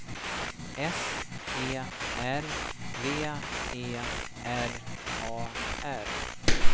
S E R V E R A R